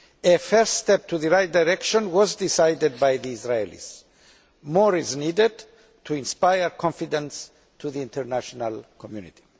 A first step in the right direction was decided by the Israelis. More is needed to inspire confidence in the international community.